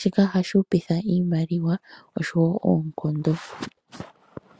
shika ohashi hupitha iimaliwa oshowo oonkondo.